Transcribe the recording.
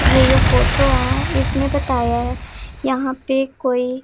ये फोटो है इसमें बताया है यहां पे कोई--